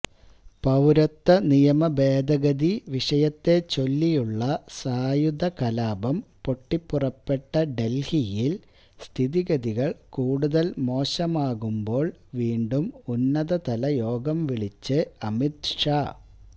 പൌരത്വനിയമഭേദഗതി വിഷയത്തെച്ചൊല്ലിയുള്ള സായുധകലാപം പൊട്ടിപ്പുറപ്പെട്ട ഡല്ഹിയില് സ്ഥിതിഗതികള് കൂടുതല് മോശമാകുമ്പോള് വീണ്ടും ഉന്നതതല യോഗം വിളിച്ച് അമിത് ഷാ